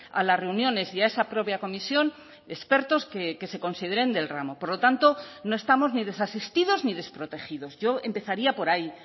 a las reuniones y a esa propia comisión expertos que se consideren del ramo por lo tanto no estamos ni desasistidos ni desprotegidos yo empezaría por ahí